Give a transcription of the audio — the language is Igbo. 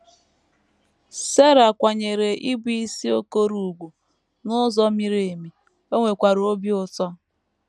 Sera kwanyeere ịbụisi Okoroùgwù n’ụzọ miri emi, o nwekwara obi ụtọ